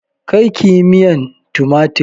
Karkiyi miyan tumatir